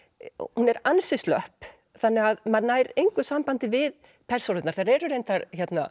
hún er ansi slöpp þannig að maður nær engu sambandi við persónurnar þær eru reyndar